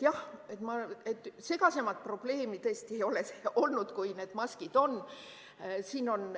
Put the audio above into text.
Jah, segasemat probleemi tõesti ei olegi olnud, kui need maskid on.